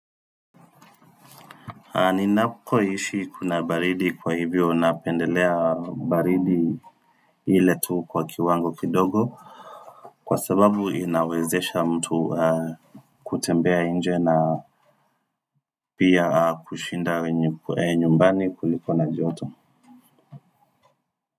Ninakoishi kuna baridi kwa hivyo napendelea baridi ile tu kwa kiwango kidogo Kwa sababu inawezesha mtu kutembea nje na pia kushinda nyumbani kuliko na joto.